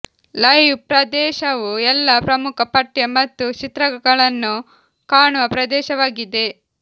live ಪ್ರದೇಶವು ಎಲ್ಲಾ ಪ್ರಮುಖ ಪಠ್ಯ ಮತ್ತು ಚಿತ್ರಗಳನ್ನು ಕಾಣುವ ಪ್ರದೇಶವಾಗಿದೆ